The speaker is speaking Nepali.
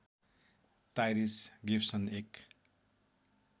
टाइरिस गिवसन एक